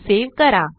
save करा